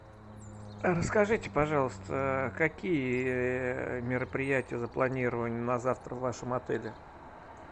расскажите пожалуйста какие мероприятия запланированы на завтра в вашем отеле